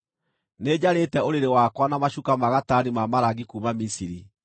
Nĩnjarĩte ũrĩrĩ wakwa na macuka ma gatani ma marangi kuuma Misiri.